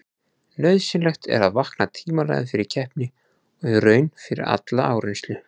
Nauðsynlegt er að vakna tímanlega fyrir keppni og í raun fyrir alla áreynslu.